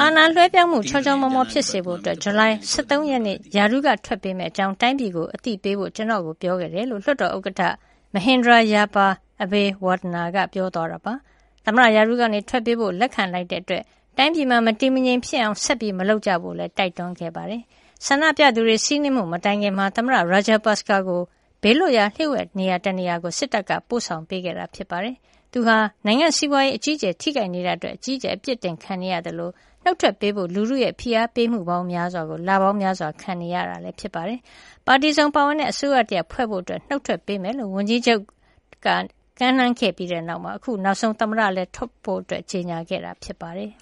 အာဏာလွဲပြောင်းမှု ချောချောမောမောဖြစ်စေဖို့ ဇူလိုင်လ ၁၃ ရက်နေ့ ရာထူးကထွက်ပေးမယ့်အကြောင်း တိုင်းပြည်ကို အသိပေးဖို့ ကျနော့်ကို ပြောခဲ့ပါတယ်။" လို့ လွှတ်တော်ဥက္ကဌ Mahinda Yapa Abeywardena က ပြောသွားတာပါ။ သမ္မတရာထူးက ထွက်ပေးဖို့ လက်ခံလိုက်တာကြောင့် တိုင်းပြည်မှာ မတည်မငြိမ်ဖြစ်အောင် ဆက်မလုပ်ကြဖို့လည်း တိုက်တွန်းခဲ့ပါတယ်။ ဆန္ဒပြသူတွေ စီးနင်းမှု မတိုင်ခင်မှာပဲ သမ္မတ Rajapaksa ကို ဘေးလွတ်ရာ လျှို့ဝှက်နေရာ တနေရာကို စစ်တပ်က ပို့ဆောင်ပေးခဲ့တာ ဖြစ်ပါတယ်။ သူဟာ နိုင်ငံ့ စီးပွါးရေးအကြီးအကျယ် ထိခိုက်နေတာအတွက် အကြီးအကျယ် ပြစ်တင်ခံနေရသလို နှုတ်ထွက်ပေးဖို့ လူထုရဲ့ ဖိအားပေးမှုကိုလပေါင်းများစွာ ခံနေရတာ ဖြစ်ပါတယ်။ ပါတီစုံပါဝင်တဲ့ အစိုးရတရပ်ဖွဲ့ဖို့အတွက် နုတ်ထွက်ပေးမှာ ဖြစ်ကြောင်း ဝန်ကြီးချုပ် Ranil Wickremesinghe ကမ်းလှမ်းခဲ့ပြီးနောက်၊ အခုနောက်ဆုံး သမ္မတလည်း ထွက်ပေးဖို့ ကြေညာခဲ့တာ ဖြစ်ပါတယ်။